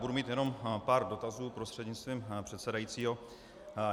Budu mít jenom pár dotazů prostřednictvím předsedajícího.